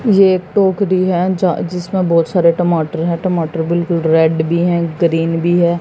ये एक टोकरी है जिसमें बहोत सारे टमाटर है टमाटर बिल्कुल रेड भी है ग्रीन भी है।